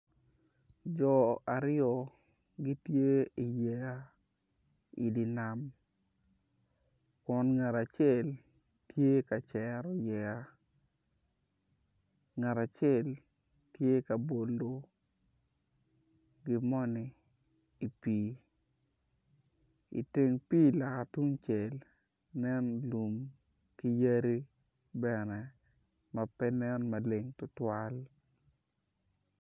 Jo aryo gitye i dyer nam kun ngat acel tye ka cero yeya ngat acel tye ka bolo gimoni i pii iteng pii loka tungcel tye lum ki yadi bene ma pe nen maleng tutwal